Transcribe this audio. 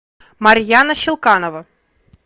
марьяна щелканова